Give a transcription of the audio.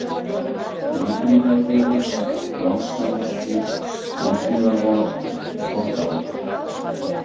Löngumýrarvegur, Valshamarsgil, Úthlíðarvað, Stokkaholt